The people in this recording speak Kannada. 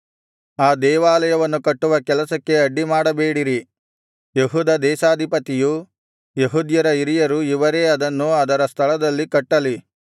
ಆ ದೇವಾಲಯವನ್ನು ಕಟ್ಟುವ ಕೆಲಸಕ್ಕೆ ಅಡ್ಡಿ ಮಾಡಬೇಡಿರಿ ಯೆಹೂದ ದೇಶಾಧಿಪತಿಯು ಯೆಹೂದ್ಯರ ಹಿರಿಯರು ಇವರೇ ಅದನ್ನು ಅದರ ಸ್ಥಳದಲ್ಲಿ ಕಟ್ಟಲಿ